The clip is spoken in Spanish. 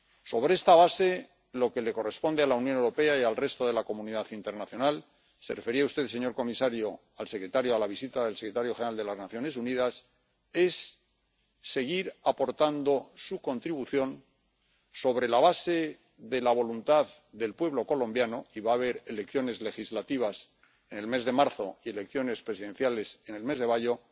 Sobre esta base, lo que le corresponde a la Unión Europea y al resto de la comunidad internacional —se refería a usted, señor comisario, a la visita del secretario general de las Naciones Unidas— es seguir aportando su contribución sobre la base de la voluntad del pueblo colombiano —y va a haber elecciones legislativas en el mes de marzo y elecciones presidenciales en el mes de mayo—.